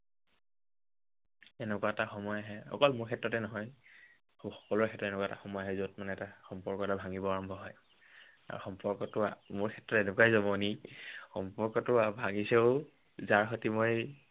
এনেকুৱা এটা সময় আহে, অকল মোৰ ক্ষেত্ৰতে নহয়, সকলোৰে ক্ষেত্ৰত এনেকুৱা এটা সময় আহে, যত মানে সম্পৰ্ক এটা ভাঙিব হয়। আৰু সম্পৰ্কটো, মোৰ ক্ষেত্ৰত এনেকুৱাই জমনি, সম্পৰ্কটো ভাঙিছেও যাৰ সৈতে মই